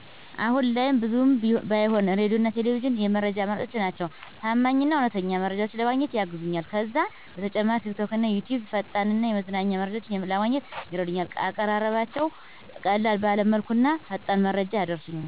አሁን ላይም ብዙም ባይሆን ሬዲዮና ቴሌቪዥን የመረጃ አማራጮቼ ናቸው። ታማኝ እና እውነተኛ መረጃዎችን ለማግኘትም ያግዙኛል። ከዛ በተጨማሪ ቲክቶክና ዩትዩብ ፈጣን እና የመዝናኛ መረጃዎችን ለማግኘት ይረዱኛል፣ አቀራረባቸው ቀለል ባለ መልኩና ፈጣን መረጃ ያደርሱኛል።